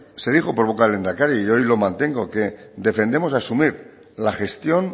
se dijo por boca del lehendakari y hoy lo mantengo que defendemos asumir la gestión